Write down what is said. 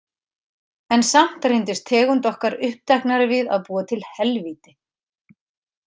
En samt reyndist tegund okkar uppteknari við að búa til helvíti.